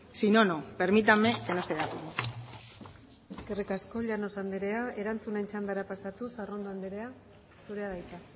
sino no permítanme que no esté de acuerdo eskerrik asko llanos andera erantzunen txandara pasatuz arrondo anderea zurea da hitza